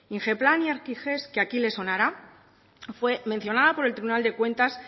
ingeplan y arkigest que aquí les sonará fue mencionada por el tribunal de cuentas